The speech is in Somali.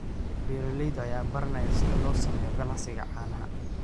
Beeralayda ayaa baranaya sida loo sameeyo ganacsiga caanaha.